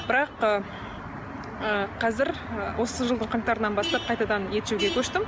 бірақ ы қазір ы осы жылдың қаңтарынан бастап қайтадан ет жеуге көштім